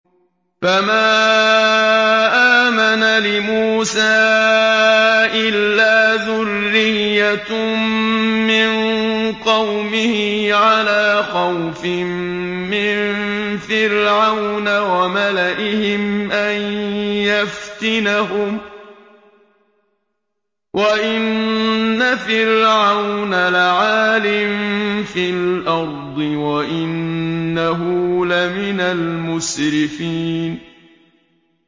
فَمَا آمَنَ لِمُوسَىٰ إِلَّا ذُرِّيَّةٌ مِّن قَوْمِهِ عَلَىٰ خَوْفٍ مِّن فِرْعَوْنَ وَمَلَئِهِمْ أَن يَفْتِنَهُمْ ۚ وَإِنَّ فِرْعَوْنَ لَعَالٍ فِي الْأَرْضِ وَإِنَّهُ لَمِنَ الْمُسْرِفِينَ